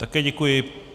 Také děkuji.